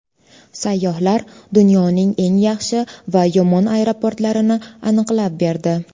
Sayyohlar dunyoning eng yaxshi va yomon aeroportlarini aniqlab berdi.